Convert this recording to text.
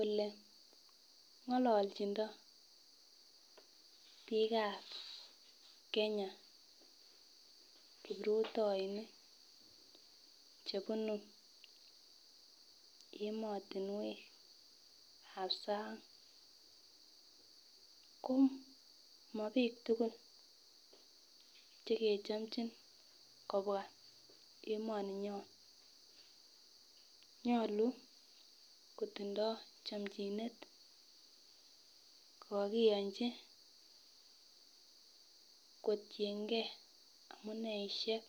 Ole ngololjindo bikab Kenya kiprutoinik chebunu emotunwekab sang ko mobik tukul chekechomchin kobwa emoninyon, nyolu kotindo chomchinet ko kokoyonchi kotiyengee amuneishek